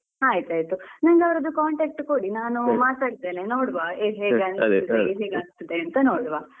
ಆಯ್ತಯ್ತು ನಂಗೆ ಅವ್ರದ್ದು contact ಕೊಡಿ ನಾನು ಮಾತಾಡ್ತೇನೆ ನೋಡುವ ಹೇಗೆ ಅನ್ನಿಸ್ತದೆ ಹೇಗೆ ಆಗ್ತದೆ ಅಂತ ನೋಡುವ ಆಯ್ತಾ.